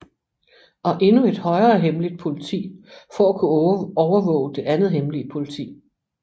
Og endnu et højere hemmeligt politi for at kunne overvåge det andet hemmelige politi